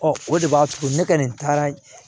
o de b'a to ne kɔni taara